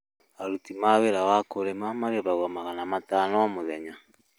Aruti a wĩra a kũrĩma marĩhagwo magana matano o mũthenya